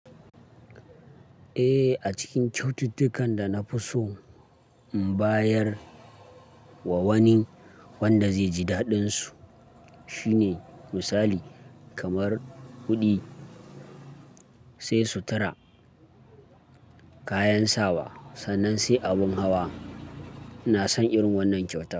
Eh, a cikin kyaututtukan da na fi so in bayar wa wani wanda zai ji daɗinsu shine misali kamar kuɗi, sai sutura, kayan sawa, sannan sai abun hawa. Na san irin wannan kyauta.